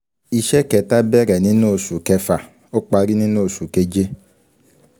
Iṣẹ́ kẹta bẹ̀rẹ̀ nínú oṣù kẹfà, ó parí nínú oṣù keje.